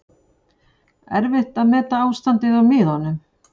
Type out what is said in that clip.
Erfitt að meta ástandið á miðunum